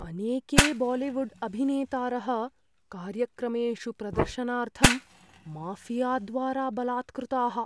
अनेके बालिवुड्अभिनेतारः कार्यक्रमेषु प्रदर्शनार्थं माऴियाद्वारा बलात्कृताः।